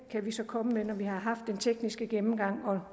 kan vi så komme med når vi har haft den tekniske gennemgang og